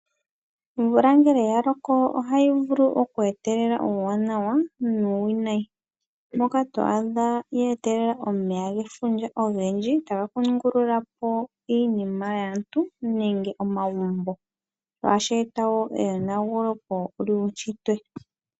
Omvula ngele ya loko ohayi vulu oku etelela uuwanawa nuu winayi. Moko to ahda geeta omeya gefundja ogendji, taga kungululapo iinima yaantu nenge omagumbo, ohashi eta wo eyonagulepo lyuu shitwe.